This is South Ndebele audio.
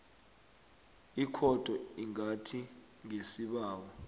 ikhotho ingathi ngesibawo